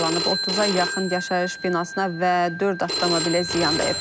30-a yaxın yaşayış binasına və dörd avtomobilə ziyan dəyib.